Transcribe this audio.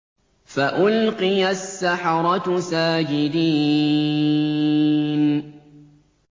فَأُلْقِيَ السَّحَرَةُ سَاجِدِينَ